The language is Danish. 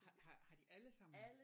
Har har har de alle sammen